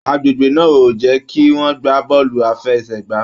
Agbègbè náà o jẹ kí wọn gbà bọọlu àfẹ́sẹ̀gbà.